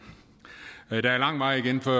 der er lang vej igen før